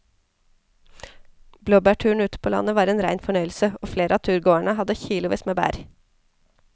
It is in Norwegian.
Blåbærturen ute på landet var en rein fornøyelse og flere av turgåerene hadde kilosvis med bær.